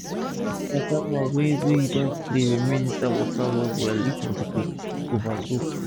no let casava wey wey u don clean remain for inside water well well if not e go over soak